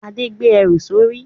Adé gbé ẹrù sórí